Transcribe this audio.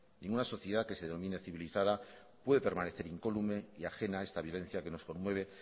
ninguna sociedad que se denomine civilizada puede permanecer incólume y ajena a esta violencia que nos conmueve